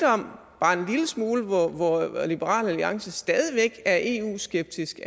bare en lille smule om hvor liberal alliance stadig væk er eu skeptiske